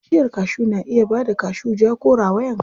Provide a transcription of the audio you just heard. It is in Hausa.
Bishiyar kashu na iya bada kashu ja ko rawayan kala.